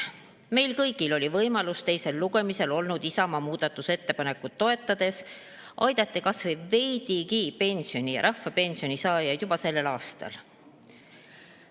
Meil kõigil oli võimalus teisel lugemisel olnud Isamaa muudatusettepanekut toetades aidata kas või veidigi pensioni ja rahvapensioni saajaid juba sellel aastal.